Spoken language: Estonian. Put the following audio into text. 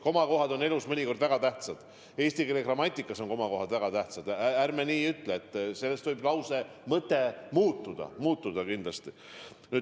Komakohad on elus mõnikord väga tähtsad, ka eesti keele grammatikas on komad väga tähtsad, nendest võib lause mõtegi sõltuda.